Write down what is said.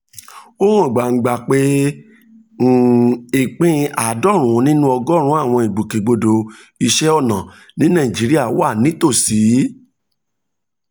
ó hàn gbangba pé um ìpín àádọ́rin nínú ọgọ́rùn-ún àwọn ìgbòkègbodò iṣẹ́ ọnà ní nàìjíríà wà nítòsí